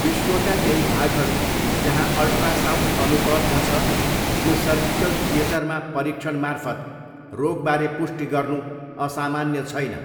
विश्वका केही भागहरू, जहाँ अल्ट्रासाउन्ड अनुपलब्ध छ, यो सर्जिकल थियेटरमा परीक्षणमार्फत रोगबारे पुष्टि गर्नु असामान्य छैन।